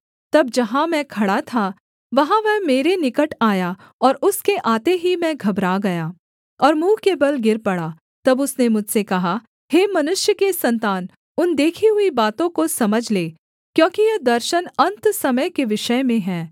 तब जहाँ मैं खड़ा था वहाँ वह मेरे निकट आया और उसके आते ही मैं घबरा गया और मुँह के बल गिर पड़ा तब उसने मुझसे कहा हे मनुष्य के सन्तान उन देखी हुई बातों को समझ ले क्योंकि यह दर्शन अन्त समय के विषय में है